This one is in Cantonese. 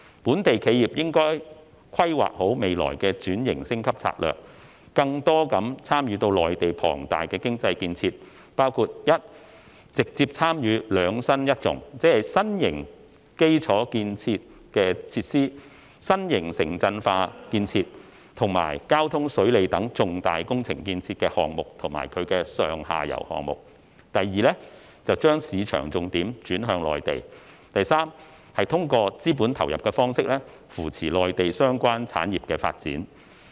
本地企業應規劃好未來的轉型升級戰略，更多地參與到內地龐大的經濟建設，包括：一直接參與"兩新一重"，即新型基礎設施建設，新型城鎮化建設及交通、水利等重大工程建設的項目或其上下游項目；二把市場重點轉向內地，以及三通過資本投入的方式，扶持內地相關產業發展。